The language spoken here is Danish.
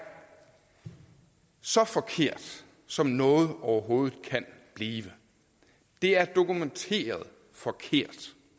så forkert som noget overhovedet kan blive det er dokumenteret forkert